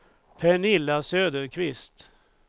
Pernilla Söderqvist